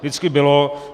Vždycky bylo.